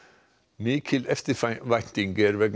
mikil eftirvænting er vegna